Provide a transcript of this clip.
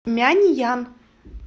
мяньян